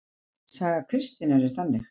Saga Kristínar er þannig